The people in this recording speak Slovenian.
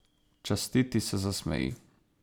Častiti se zasmeji.